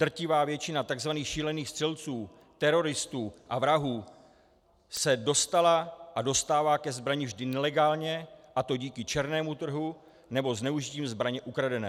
Drtivá většina tzv. šílených střelců, teroristů a vrahů se dostala a dostává ke zbrani vždy nelegálně, a to díky černému trhu, anebo zneužitím zbraně ukradené.